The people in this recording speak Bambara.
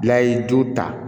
Bila ye ju ta